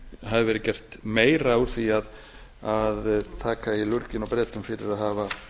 hafi verið gert meira úr því að taka í lurginn á bretum fyrir að hafa